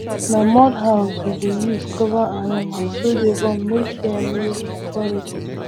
na mud house we deh use cover animals wey dey born make hear no worry dem